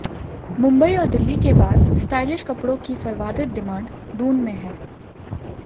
मुंबई और दिल्ली के बाद स्टाइलिश कपड़ों की सर्वाधित डिमांड दून में है